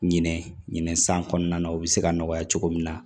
Ɲinɛ ɲinɛ san kɔnɔna na u bɛ se ka nɔgɔya cogo min na